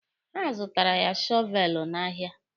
Ha zụtaara ya shọveelụ n'ahịa.